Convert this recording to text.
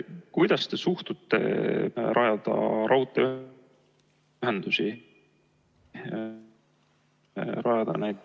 Kuidas te suhtute sellesse, et rajada raudteeühendusi ...?